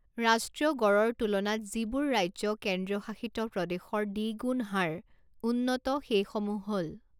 ৰাষ্ট্ৰীয় গড়ৰ তুলনাত যিবোৰ ৰাজ্য কেন্দ্ৰীয়শাসিত প্ৰদেশৰ দ্বিগুণ হাৰ উন্নত সেইসমূহ হ'ল